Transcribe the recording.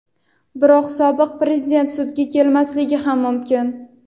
Biroq sobiq Prezident sudga kelmasligi ham mumkin.